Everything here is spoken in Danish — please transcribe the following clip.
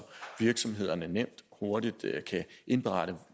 virksomhederne nemt og hurtigt kan indberette